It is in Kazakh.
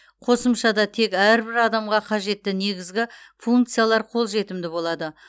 қосымшада тек әрбір адамға қажетті негізгі функциялар қолжетімді болады